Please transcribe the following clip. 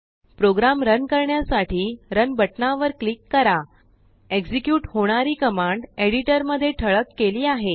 programme run करण्यासाठी run बटनावर click करा एक्झेक्युट होणारी कमांडएडिटरमध्ये ठळककेली आहे